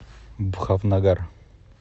бхавнагар